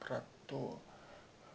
про то